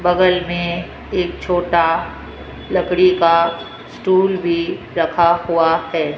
बगल मे एक छोटा लकड़ी का स्टूल भी रखा हुआ है।